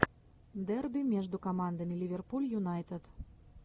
дерби между командами ливерпуль юнайтед